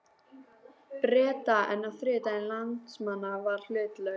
Breta, en þriðjungur landsmanna var hlutlaus.